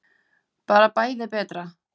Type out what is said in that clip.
Bara bæði betra.